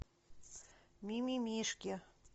мимимишки